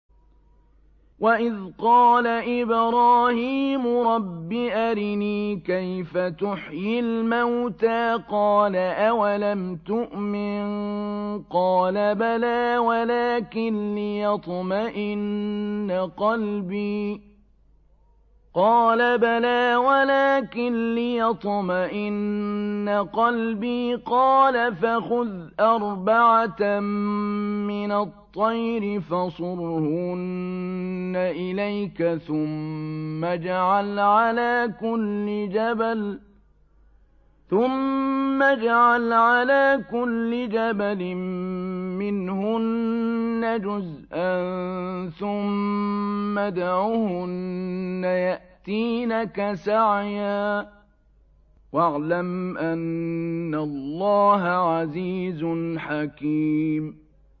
وَإِذْ قَالَ إِبْرَاهِيمُ رَبِّ أَرِنِي كَيْفَ تُحْيِي الْمَوْتَىٰ ۖ قَالَ أَوَلَمْ تُؤْمِن ۖ قَالَ بَلَىٰ وَلَٰكِن لِّيَطْمَئِنَّ قَلْبِي ۖ قَالَ فَخُذْ أَرْبَعَةً مِّنَ الطَّيْرِ فَصُرْهُنَّ إِلَيْكَ ثُمَّ اجْعَلْ عَلَىٰ كُلِّ جَبَلٍ مِّنْهُنَّ جُزْءًا ثُمَّ ادْعُهُنَّ يَأْتِينَكَ سَعْيًا ۚ وَاعْلَمْ أَنَّ اللَّهَ عَزِيزٌ حَكِيمٌ